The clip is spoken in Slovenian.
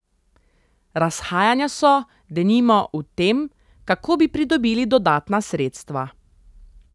Razhajanja so, denimo, v tem, kako bi pridobili dodatna sredstva.